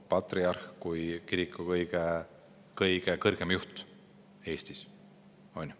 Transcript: Patriarh on kiriku kõige kõrgem juht Eestis.